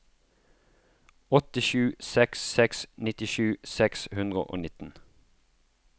åtte sju seks seks nittisju seks hundre og nitten